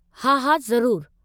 हा, हा, ज़रूरु।